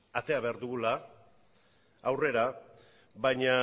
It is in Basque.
atera behar dugula aurrera baina